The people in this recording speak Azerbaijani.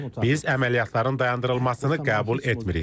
Biz əməliyyatların dayandırılmasını qəbul etmirik.